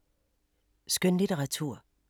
Skønlitteratur